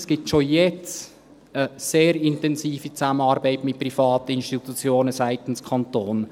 Es gibt schon jetzt eine sehr intensive Zusammenarbeit mit privaten Institutionen seitens des Kantons.